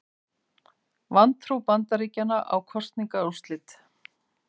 Vantrú Bandaríkjanna á kosningaúrslit